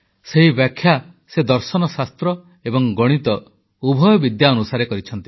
ସେହି ବ୍ୟାଖ୍ୟା ସେ ଦର୍ଶନଶାସ୍ତ୍ର ଏବଂ ଗଣିତ ଉଭୟ ବିଦ୍ୟା ଅନୁସାରେ କରିଛନ୍ତି